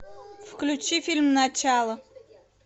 включи фильм начало